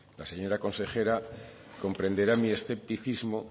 la señora consejera comprenderá mi escepticismo